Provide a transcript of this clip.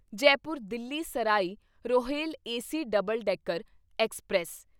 Jaipur Delhi Sarai Rohilla AC double decker express